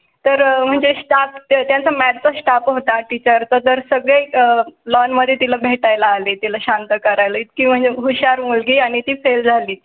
तर म्हणजे Staff च्या math चा Staff होता टीचर चं जर सगळे आह लॉन मध्ये तिला भेटाय ला आले त्याला शांत करायला इतकी म्हणजे हुशार मुलगी आणि ती फेल झाली.